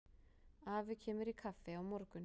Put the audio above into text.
Afi kemur í kaffi á morgun.